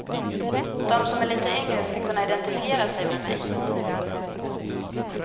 De som är lite yngre ska kunna identifiera sig med mig.